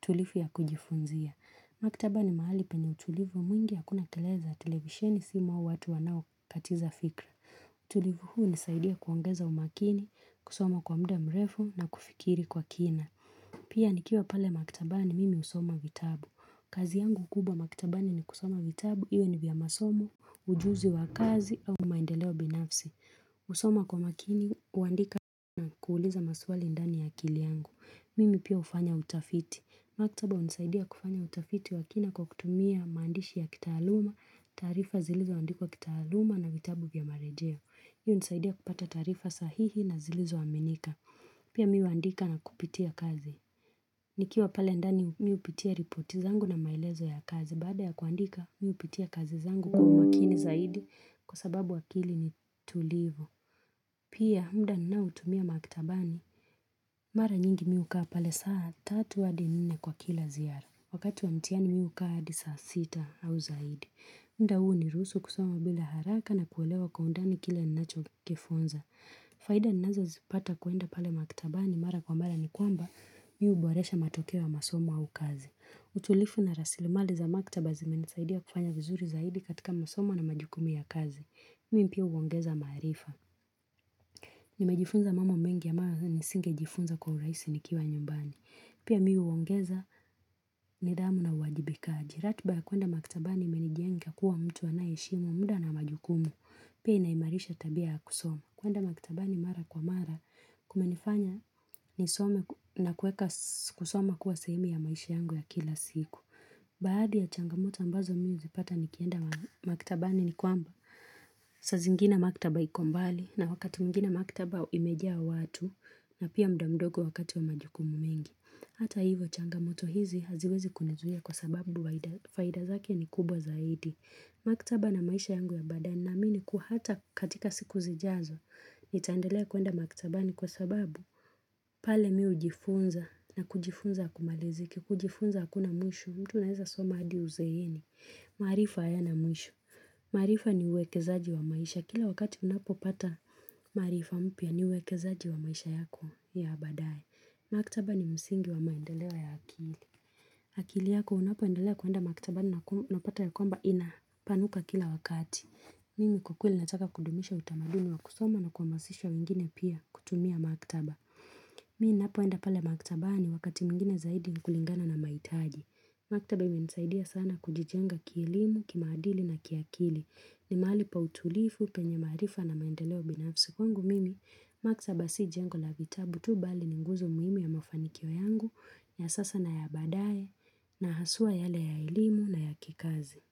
tulifi ya kujifunzia. Maktaba ni mahali penye utulivu mwingi hakuna kelele za televisheni si mahu watu wanao katiza fikra. Utulivu huu unisaidia kuongeza umakini, kusoma kwa mda mrefu na kufikiri kwa kina. Pia nikiwa pale maktabani mimi usoma vitabu. Kazi yangu kubwa maktabani ni kusoma vitabu, iwe ni vya masomo, ujuzi wa kazi au maendeleo binafsi. Usoma kwa makini, uandika na kuuliza maswali ndani ya akili yangu. Mimi pia ufanya utafiti. Maktaba unisaidia kufanya utafiti wa kina kwa kutumia maandishi ya kitaaluma, taarifa zilizo andikwa kitaaluma na vitabu vya marejeo. Hii unisaidia kupata taarifa sahihi na zilizo aminika. Pia mi uandika na kupitia kazi. Nikiwa pale ndani mi upitia ripoti zangu na maelezo ya kazi baada ya kuandika mi upitia kazi zangu kwa umakini zaidi kwa sababu akili ni tulivu. Pia mda ninaotumia maktabani, mara nyingi mi ukaa pale saa tatu hadi nine kwa kila ziara. Wakati wa mtiani mi ukaa adi saa sita au zaidi. Mda huu unirusu kusoma bila haraka na kuelewa kwa undani kila ninacho kifunza. Faida ninazo zipata kuenda pale maktabani mara kwa mara ni kwamba mi uboresha matokeo ya masoma au kazi. Utulifu na rasilimali za maktaba zimenisaidia kufanya vizuri zaidi katika masomo na majukumu ya kazi. Mimi pia uongeza maarifa. Nimejifunza mamo mengi ya mara nisinge jifunza kwa uraisi nikiwa nyumbani. Pia mi uongeza nidhamu na uwajibikaji. Ratba ya kuenda maktabani imenijenga kuwa mtu anaye heshimu muda na majukumu. Pia inaimarisha tabia ya kusoma. Kuenda maktabani mara kwa mara kumenifanya nisome na kueka kusoma kuwa sehemu ya maisha yangu ya kila siku. Baadhi ya changamoto ambazo mi uzipata nikienda maktabani ni kwamba saa zingine maktaba iko mbali na wakati mwingine maktaba imejaa watu na pia mda mdogo wakati wa majukumu mingi Hata hivo changamoto hizi haziwezi kunizuia kwa sababu faida zake ni kubwa zaidi Maktaba na maisha yangu ya baadae ninaamini kuwa hata katika siku zijazo Nitaendelea kuenda maktabani kwa sababu pale mi ujifunza na kujifunza akumaliziki kujifunza hakuna mwisho, mtu anaeza soma adi uzeeni. Maarifa hayana mwisho. Maarifa ni uwekezaji wa maisha Kila wakati unapo pata maarifa mpya ni uwekezaji wa maisha yako ya baadaye. Maktaba ni msingi wa maendeleo ya akili. Akili yako unapoendelea kuenda maktaba na napata ya kwamba ina panuka kila wakati. Mimi kwa kweli nataka kudumisha utamaduni wa kusoma na kuamasishwa wengine pia kutumia maktaba. Mi napoenda pale maktabani wakati mwingine zaidi ni kulingana na maitaji. Maktaba imenisaidia sana kujijenga kielimu, kimaadili na kiakili. Ni mahali pa utulifu, penye maarifa na maendeleo binafsi kwangu mimi maktaba si jengo la vitabu tu bali ni nguzo muhimu ya mafanikio yangu, ya sasa na ya baadaye, na haswa yale ya elimu na ya kikazi.